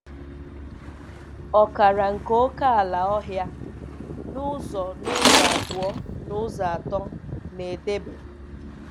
Ọkara nke ókèala - Ọhia, na ụzọ na ụzọ abụọ n'ụzọ atọ - na-edebe.